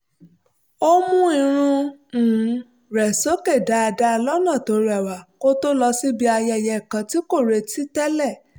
ó mú irun um rẹ̀ sókè dáadáa lọ́nà tó rẹwa kó tó lọ síbi ayẹyẹ kan tí kò retí tẹ́lẹ̀